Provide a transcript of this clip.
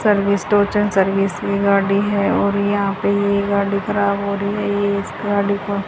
service टोचन service वी गाड़ी है और यहां पे ये गाड़ी खराब हो रही हैं ये इस गाड़ी को--